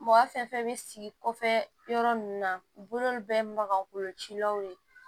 Mɔgɔ fɛn fɛn bɛ sigi kɔfɛ yɔrɔ ninnu na u bolo bɛɛ ye magakolo cilaw de ye